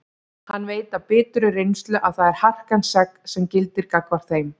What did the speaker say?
Hann veit af biturri reynslu að það er harkan sex sem gildir gagnvart þeim.